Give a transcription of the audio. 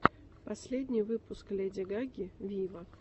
последний выпуск леди гаги виво